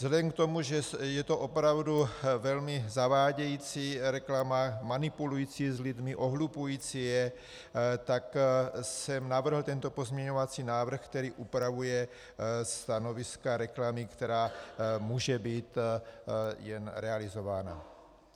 Vzhledem k tomu, že je to opravdu velmi zavádějící reklama, manipulující s lidmi, ohlupující je, tak jsem navrhl tento pozměňovací návrh, který upravuje stanoviska reklamy, která může být jen realizována.